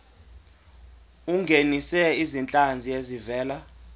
ungenise izinhlanzi ezivela